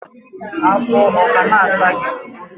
afọ ọ kana asa gi?